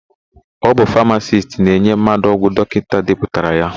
Ọ bụ famasisti na-enye mmadụ ọgwụ dọkịta depụtara ya.